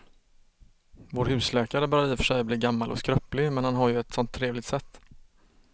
Vår husläkare börjar i och för sig bli gammal och skröplig, men han har ju ett sådant trevligt sätt!